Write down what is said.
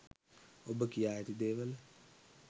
ඔබ කියා ඇති දේවල